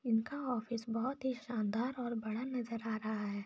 इनका ऑफिस बहुत ही शान शानदार और बड़ा नजर आ रहा है |